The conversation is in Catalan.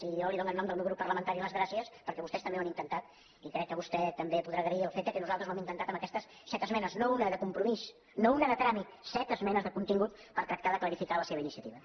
i jo li dono en nom del meu grup parlamentari les gràcies perquè vostès també ho han intentat i crec que vostè també podrà agrair el fet que nosaltres ho hem intentat en aquestes set esmenes no una de com·promís no una de tràmit set esmenes de contingut per tractar de clarificar la seva iniciativa